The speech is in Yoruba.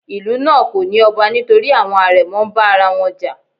Ìlú náà kò ní ọba nítorí àwọn àrẹ̀mọ ń bá ara wọn jà.